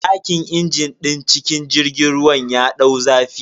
Dakin injin din cikin jirgin ruwan ya dau zafi.